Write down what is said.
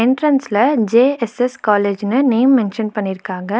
என்ட்ரன்ஸ்ல J S S காலேஜ்னு name mention பண்ணிருக்காங்க.